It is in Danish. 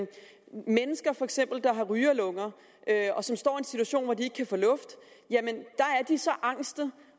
mennesker der for eksempel har rygerlunger og som står i en situation hvor de ikke kan få luft er så angste